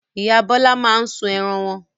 Ìyá Bọ́lá máa ń sun ẹran wọn.